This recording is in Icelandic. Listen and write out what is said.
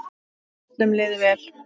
Og að öllum liði vel.